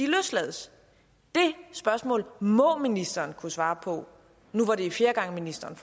løslades det spørgsmål må ministeren kunne svare på nu hvor det er fjerde gang ministeren